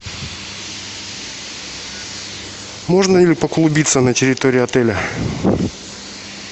можно ли поклубиться на территории отеля